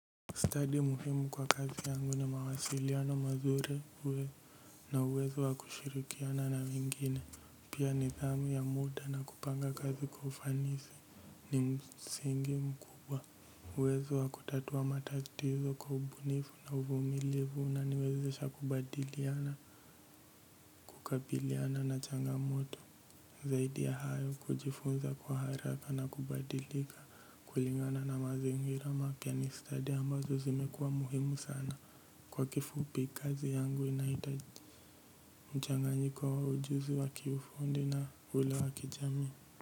Stadi muhimu kwa kazi yangu ni mawasiliano mazuri uwe na uwezo wa kushirikiana na wengine. Pia nidhamu ya muda na kupanga kazi kwa ufanisi ni msingi mkubwa. Uwezo wa kutatua matatizo kwa ubunifu na uvumilifu unaniwezesha kubadiliana, kukabiliana na changamoto. Zaidi ya hayo kujifunza kwa haraka na kubadilika kulingana na mazingira mapya ni study ambazo zimekuwa muhimu sana kwa kifupi kazi yangu inahitaji mchanganyiko wa ujuzi wa kiufundi na ule wa kijamii.